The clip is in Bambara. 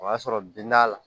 O y'a sɔrɔ bin b'a la